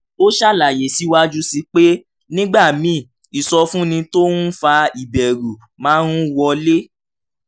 ó ṣàlàyé síwájú sí i pé nígbà míì ìsọfúnni tó ń fa ìbẹ̀rù máa ń wọlé